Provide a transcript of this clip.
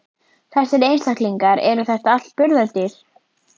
Þessir einstaklingar, eru þetta allt burðardýr?